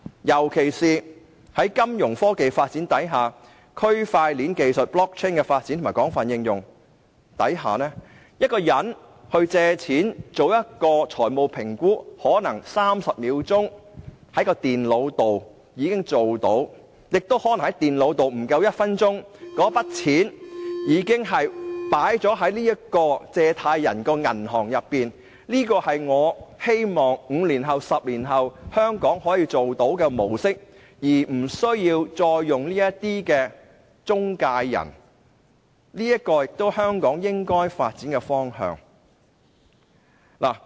尤其是隨着金融科技發展，區塊鏈技術被廣泛應用，一個人借貸、做財務評估，使用電腦可能30秒就已經做到，亦可能不足1分鐘後，那筆款項已經存入借貸人的帳戶，這是我希望香港在5年、10年後可以做到的模式，而不再需要使用中介公司，這亦是香港應該發展的方向。